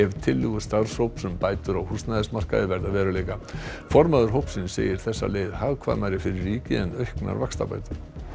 tillögur starfshóps um bætur á húsnæðismarkaði verða að veruleika formaður hópsins segir þessa leið hagkvæmari fyrir ríkið en auknar vaxtabætur